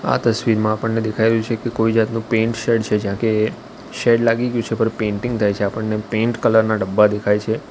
આ તસ્વીરમાં આપણને દેખાઇ રહ્યુ છે કે કોઈ જાતનુ પેઇન્ટ શેડ છે જ્યાં કે શેડ લાગી ગ્યુ છે પર પેઇન્ટીંગ થાય છે આપણને પેઇન્ટ કલર ના ડબ્બા દેખાઈ છે.